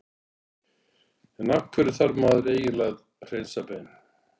en af hverju þarf maður eiginlega að hreinsa bein